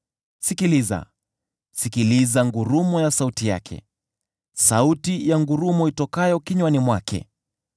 Sikiliza! Sikiliza ngurumo ya sauti yake, sauti ya ngurumo itokayo kinywani mwake.